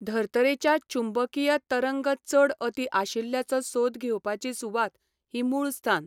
धर्तरेच्यो चुंबकीय तरंग चड अती आशिल्ल्याचो सोद घेवपाची सुवात ही मुळस्थान.